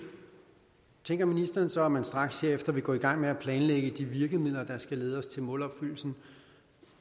tænker ministeren så at man straks herefter vil gå i gang med at planlægge de virkemidler der skal lede os til målopfyldelsen